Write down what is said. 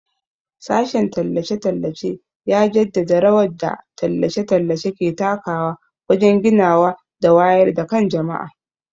Sashen tallace-tallace ya jaddada rawar da tallace-tallace ke takawa wajen ginawa da wayar da kan jama'a.